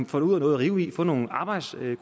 få noget at rive i få nogle arbejdskolleger